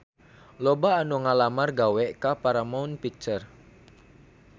Loba anu ngalamar gawe ka Paramount Picture